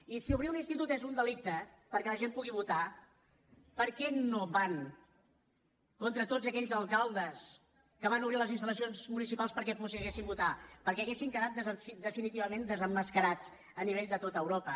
i si obrir un institut és un delicte perquè la gent pugui votar per què no van contra tots aquells alcaldes que van obrir les instal·lacions municipals perquè poguéssim votar perquè haurien quedat definitivament desemmascarats a nivell de tot europa